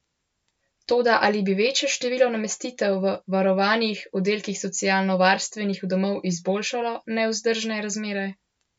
Toda ali bi večje število namestitev v varovanih oddelkih socialnovarstvenih domov izboljšalo nevzdržne razmere?